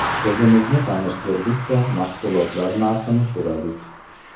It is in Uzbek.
O‘zimizni tanishtirdik-da, mahsulotlar narxini so‘radik.